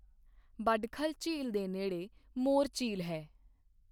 ਬਡਖਲ ਝੀਲ ਦੇ ਨੇੜੇ ਮੋਰ ਝੀਲ ਹੈ।